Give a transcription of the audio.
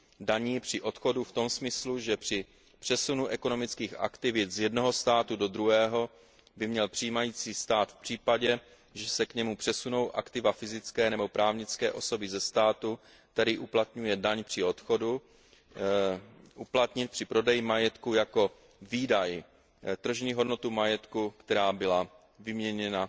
daní při odchodu v tom smyslu, že při přesunu ekonomických aktivit z jednoho státu do druhého by měl přijímající stát v případě, že se k němu přesunou aktiva fyzické nebo právnické osoby ze státu, který uplatňuje daň při odchodu, uplatnit při prodeji majetku jako výdaj tržní hodnotu majetku, která byla vyměněna